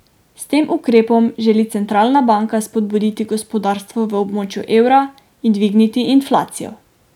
S tem ukrepom želi centralna banka spodbuditi gospodarstvo v območju evra in dvigniti inflacijo.